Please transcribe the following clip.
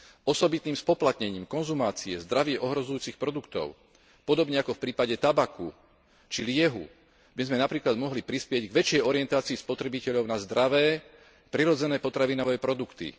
Osobitným spoplatnením konzumácie zdravie ohrozujúcich produktov, podobne ako v prípade tabaku či liehu, by sme napríklad mohli prispieť k väčšej orientácii spotrebiteľov na zdravé, prirodzené potravinové produkty.